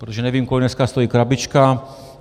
Protože nevím, kolik dneska stojí krabička.